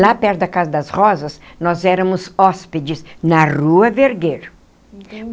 Lá perto da Casa das Rosas, nós éramos hóspedes na Rua Vergueiro.